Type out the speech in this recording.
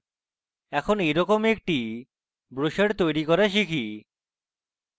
এখন এই রকম একটি ব্রোসার তৈরী করা শিখি